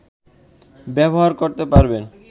ব্যবহার করতে পারবেন